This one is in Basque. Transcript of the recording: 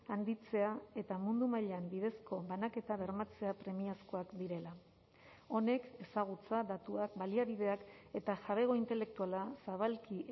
handitzea eta mundu mailan bidezko banaketa bermatzea premiazkoak direla honek ezagutza datuak baliabideak eta jabego intelektuala zabalki